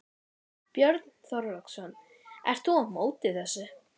Björn Þorláksson: Ert þú þá á móti þessu?